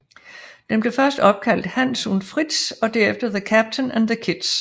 Den blev først opkaldt Hans und Fritz og derefter The Captain and the Kids